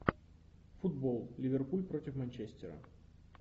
футбол ливерпуль против манчестера